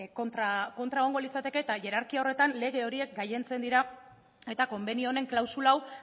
kontra egongo litzateke eta hierarkia horretan lege horiek gailentzen dira eta konbenio honen klausula hau